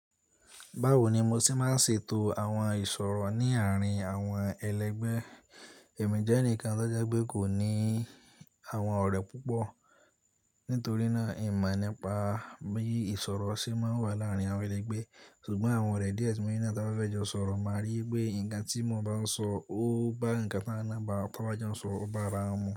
Báwo ni mo ṣe máa ṣe éto àwọn ìṣòrọ ní àárín àwọn ẹlẹgbẹ́? Ẹ̀mi jẹ́ ẹnìkan tí o jẹ gbé kò ní àwọn ọ̀rẹ́ púpọ̀, nítorí náà, èmi o mọ nípa bí ìṣòro ṣe máa ń wà láàárín àwọn ẹlẹgbẹ́. Ṣùgbọ́n àwọn ọ̀rẹ́ díẹ̀ tí mo ní ti a bá fẹ́ jọ sọ̀rọ̀ máa rí i pé ǹkan tí mo bá ń sọ ó bá ǹkan tí a ba jọ sọ bá ara wọn mu.